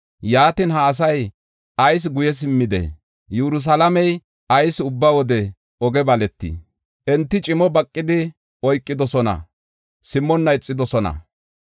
Yaatin, ha asay ayis guye simmidee? Yerusalaamey ayis ubba wode oge baleetii? Enti cimo baqidi oykidosona; simmonna ixidosona.